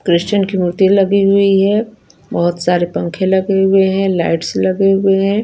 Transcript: क्रिशन की मूर्ति लगी हुई है बोहोत सारे पंखे लगे हुए है लाइट्स लगी हुई है।